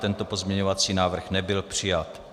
Tento pozměňovací návrh nebyl přijat.